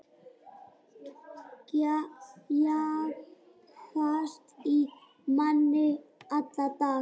Jagast í manni alla daga.